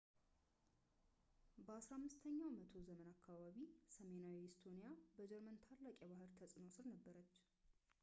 በ 15 ኛው መቶ ዘመን አካባቢ ሰሜናዊው ኢስቶኒያ በጀርመን ታላቅ የባህል ተጽዕኖ ሥር ነበረች